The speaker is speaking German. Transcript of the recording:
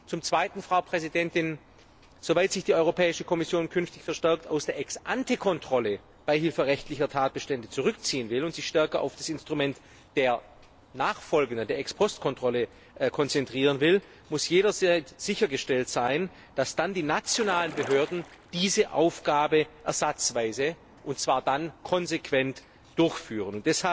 Zum Zweiten, Frau Präsidentin Soweit sich die Europäische Kommission künftig verstärkt aus der Ex ante Kontrolle beihilferechtlicher Tatbestände zurückziehen und sich stärker auf das Instrument der Ex post Kontrolle konzentrieren will, muss jederzeit sichergestellt sein, dass die nationalen Behörden diese Aufgabe ersatzweise und dann konsequent durchführen.